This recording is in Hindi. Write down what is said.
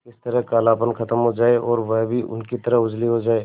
किसी तरह कालापन खत्म हो जाए और वह भी उनकी तरह उजली हो जाय